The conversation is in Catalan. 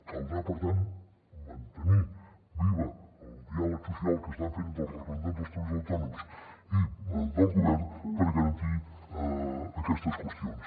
caldrà per tant mantenir viu el diàleg social que estan fent els representants dels treballadors autònoms i del govern per garantir aquestes qüestions